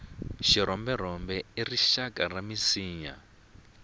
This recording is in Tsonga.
xirhomberhombe i rixaka ra minsinya